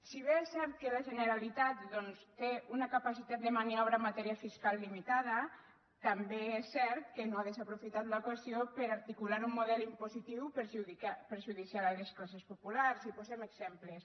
si bé és cert que la generalitat doncs té una capacitat de maniobra en matèria fiscal limitada també és cert que no ha desaprofitat l’ocasió per articular un model impositiu perjudicial per a les classes populars i en posem exemples